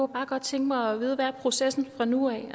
bare godt tænke mig at vide hvad processen er fra nu af